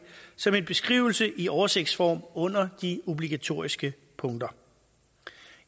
som en beskrivelse i oversigtsform under de obligatoriske punkter